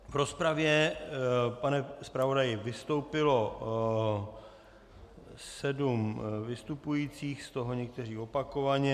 V rozpravě, pane zpravodaji, vystoupilo sedm vystupujících, z toho někteří opakovaně.